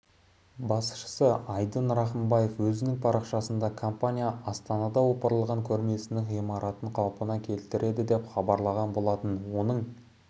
басшысы айдын рахымбаев өзінің парақшасында компания астанада опырылған көрмесінің ғимаратын қалпына келтіреді деп хабарлаған болатын оның